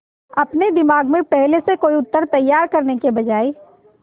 अपने दिमाग में पहले से कोई उत्तर तैयार करने की बजाय